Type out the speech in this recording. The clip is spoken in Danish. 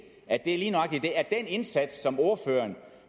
at det lige nøjagtig er den indsats som ordføreren